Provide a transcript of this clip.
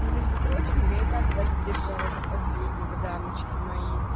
и между прочим я и так вас держала до последнего дамочки мои